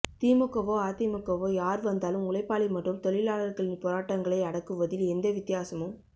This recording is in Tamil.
திமுகவோ அதிமுகவோ யார்வந்தாலும் உழைப்பாளி மற்றும் தொழிலாளர்களின் போராட்டங்களை அடக்குவதில் எந்த வித்தியாசமும்